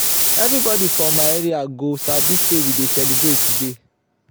everybody for my area go sabi say we dey celebrate today.